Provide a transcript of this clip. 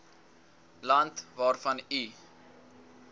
land waarvan u